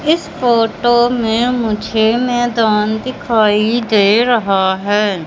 इस फोटो ने मुझे मैदान दिखाई दे रहा है।